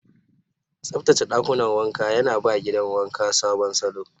Tsaftace ɗakunan wanka yana ba gidan wanka sabon salo.